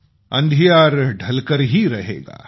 अँधियार ढलकर ही रहेगा